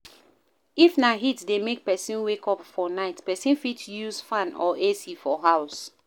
If na heat dey make person wake up for night, person fit use fan or AC for house